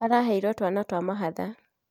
Araheirwo twana twa mahatha